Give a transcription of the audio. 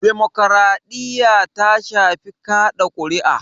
Demokaraɗiya ta shafi kaɗa kuri'a